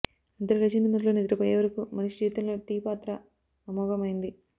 నిద్ర లేచింది మొదలు నిద్రపోయేవరకు మనిషి జీవితంలో టీ పాత్ర అమోఘమైంది